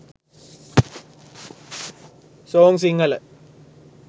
song sinhala